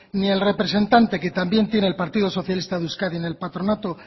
ni el representante que también el partido socialista de euskadi en el patronato